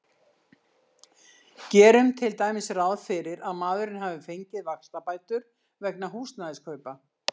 Gerum til dæmis ráð fyrir að maðurinn hafi fengið vaxtabætur vegna húsnæðiskaupa.